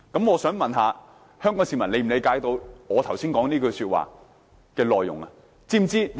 我想問香港市民能否理解我剛才所說的情況呢？